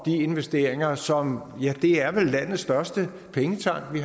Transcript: investeringer som vel landets største pengetank